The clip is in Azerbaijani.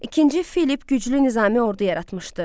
İkinci Filipp güclü nizamlı ordu yaratmışdı.